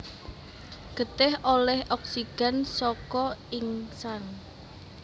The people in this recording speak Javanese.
Getih olih oksigen saka insang